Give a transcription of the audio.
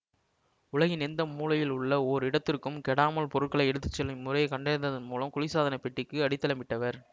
உலகின் எந்த மூலையில் உள்ள ஓர் இடத்திற்கும் கெடாமல் பொருட்களை எடுத்து செல்லும் இம்முறையைக் கண்டறிந்ததன் மூலம் குளிர்சாதனப் பெட்டிக்கு அடித்தளமிட்டவர்